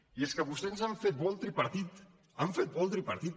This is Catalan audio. i és que vostès han fet bo el tripartit han fet bo el tripartit